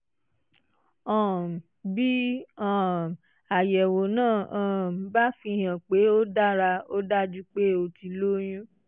um bí um àyẹ̀wò náà um bá fihàn pé ó dára ó dájú pé o ti lóyún